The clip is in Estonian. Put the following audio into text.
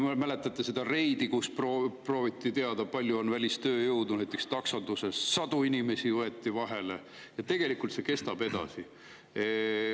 Mäletate seda reidi, kus prooviti teada saada, kui palju on välistööjõudu, näiteks taksonduses – sadu inimesi võeti vahele, ja tegelikult see kestab edasi.